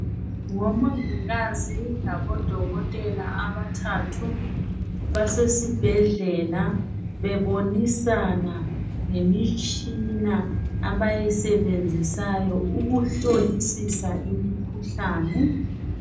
ngomongikazi labo dokotela abathathu basesibhedlela bebonisana ngemitshina abayisebenzisayo ukuhlolisisa imikhuhlane